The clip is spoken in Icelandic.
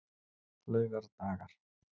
laugardagar